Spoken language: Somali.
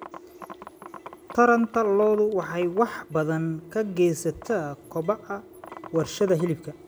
Taranta lo'du waxay wax badan ka geysataa kobaca warshadaha hilibka.